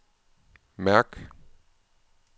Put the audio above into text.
mærk